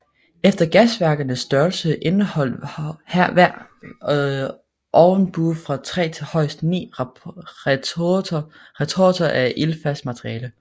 Efter gasværkernes størrelse indeholdt hver ovnbue fra 3 til højst 9 retorter af ildfast materiale